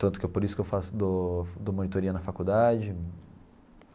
Tanto que é por isso que eu faço dou dou monitoria na faculdade.